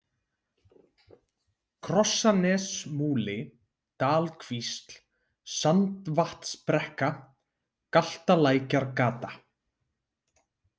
Krossanesmúli, Dalkvísl, Sandvatnsbrekka, Galtalækjargata